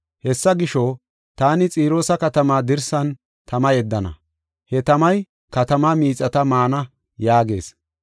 Hessa gisho, taani Xiroosa katamaa dirsan tama yeddana; he tamay katamaa miixata maana” yaagees.